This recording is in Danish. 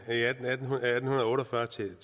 svært